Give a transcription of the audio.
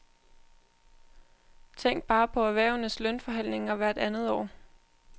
Tænk bare på erhvervenes lønforhandlinger hvert andet år.